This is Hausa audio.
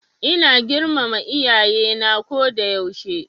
Ina girmama Iyaye na ko da yaushe.